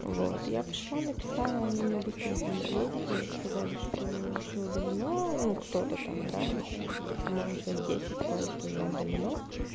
вот я пошла написала они мне быстренько ответили сказали что все удалено ну кто-то там да вот по-моему человек десять сказали что уже удалено